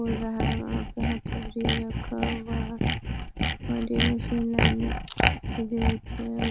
उर रहा है वहां पे होथा बरिया रखा हुआ है और ये मशीन लाइने इ जगह रखी है --